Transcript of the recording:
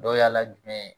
Dɔ yaala jumɛn ye